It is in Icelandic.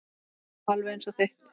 Alveg eins og þitt.